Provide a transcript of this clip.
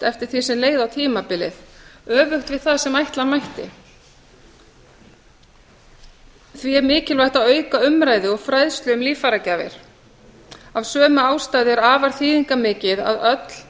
eftir því sem leið á tímabilið öfugt við það sem ætla mætti því er mikilvægt að auka umræðu og fræðslu um líffæragjafir af sömu ástæðu er afar þýðingarmikið að öll